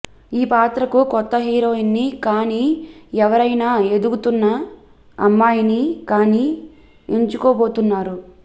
ఈ పాత్రకు కొత్త హీరోయిన్ ని కాని ఎవరయినా ఎదుగుతున్న అమ్మాయిని కాని ఎంచుకోబోతున్నారు